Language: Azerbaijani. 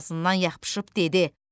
Boğazından yapışıb dedi: